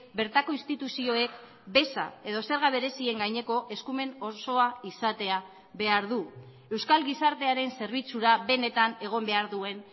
bertako instituzioek beza edo zerga berezien gaineko eskumen osoa izatea behar du euskal gizartearen zerbitzura benetan egon behar duen